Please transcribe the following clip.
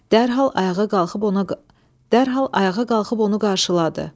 Dərhal ayağa qalxıb ona dərhal ayağa qalxıb onu qarşıladı.